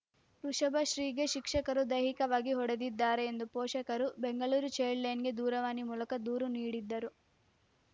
ವೃಷಭಶ್ರೀಗೆ ಶಿಕ್ಷಕರು ದೈಹಿಕವಾಗಿ ಹೊಡೆದಿದ್ದಾರೆ ಎಂದು ಪೋಷಕರು ಬೆಂಗಳೂರು ಚೈಲ್ಡ್‌ ಲೈನ್‌ಗೆ ದೂರವಾಣಿ ಮೂಲಕ ದೂರು ನೀಡಿದ್ದರು